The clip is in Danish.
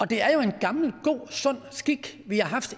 det er jo en gammel og god og sund skik vi har haft